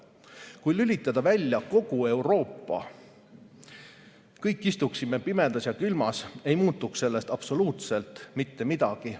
Kui lülitada välja kogu Euroopa, me kõik istuksime pimedas ja külmas, ei muutuks sellest absoluutselt mitte midagi.